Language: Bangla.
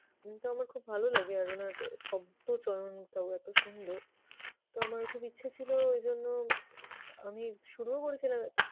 এমনিতেও আমার খুব লাগে আর উনার শব্দচয়নটাও এত সুন্দর কিন্তু আমার খুব ইচ্ছে ছিল এজন্য আমি শুরুও করেছিলাম